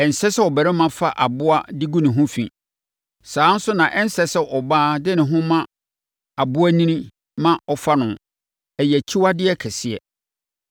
“ ‘Ɛnsɛ sɛ ɔbarima fa aboa de gu ne ho fi. Saa ara nso na ɛnsɛ sɛ ɔbaa de ne ho ma aboanini ma ɔfa no. Ɛyɛ akyiwadeɛ kɛseɛ.